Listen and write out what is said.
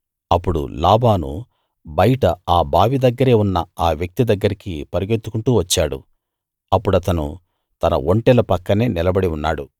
అప్పుడు లాబాను బయట ఆ బావి దగ్గరే ఉన్న ఆ వ్యక్తి దగ్గరికి పరుగెత్తుకుంటూ వచ్చాడు అప్పుడతను తన ఒంటెల పక్కనే నిలబడి ఉన్నాడు